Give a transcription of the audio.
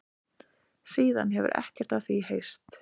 Síðan hefur ekkert af því heyrst